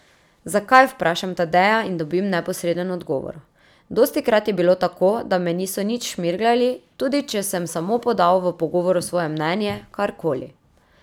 Zakaj, vprašam Tadeja in dobim neposreden odgovor: 'Dostikrat je bilo tako, da me niso nič 'šmirglali', tudi če sem samo podal v pogovoru svoje mnenje, kar koli.